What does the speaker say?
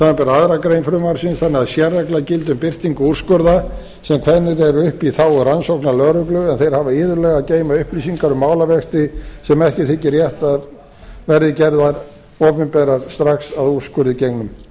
samanber aðra grein frumvarpsins þannig að sérregla gildi um birtingu úrskurða sem kveðnir eru upp í þágu rannsóknarlögreglu en þeir hafa iðulega að geyma upplýsingar um málavexti sem ekki þykir rétt að verði gerðar opinberar strax að úrskurði gengnum